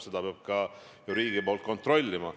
Seda peab ka riik kontrollima.